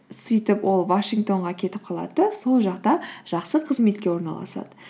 сөйтіп ол вашингтонға кетіп қалады да сол жақта жақсы қызметке орналасады